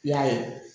I y'a ye